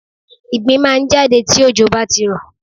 Ìgbín máà ń jáde tí òjò bá ti rọ̀.